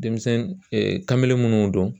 Denmisɛnnin ee kamalen minnu don